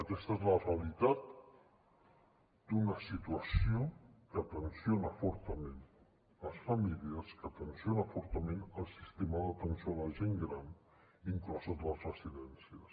aquesta és la realitat d’una situació que tensiona fortament les famílies que tensiona fortament el sistema d’atenció a la gent gran incloses les residències